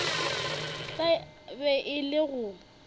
tla be e le go